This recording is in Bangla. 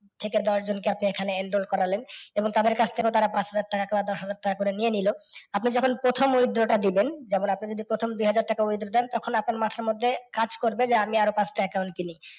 থেকে দশজনকে আপনি এখানে enroll করালেন এবং তাদের কাছ থেকেও তারা পাঁচ হাজার টাকা বা দশ হাজার টাকা করে নিয়ে নিল। আপনি জখন প্রথম withdraw টা দিবেন, যেমন আপনি যদি প্রথম দুহাজার টাকা withdraw দেন তখন আপনার মাথার মধ্যে কাজ করবে যে আমি আর ও পাঁচ টা account খুলি।